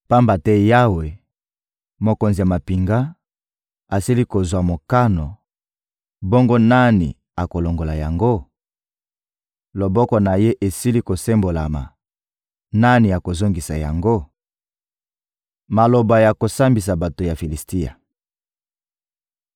Pamba te Yawe, Mokonzi ya mampinga, asili kozwa mokano; bongo nani akolongola yango? Loboko na Ye esili kosembolama; nani akozongisa yango? Maloba ya kosambisa bato ya Filisitia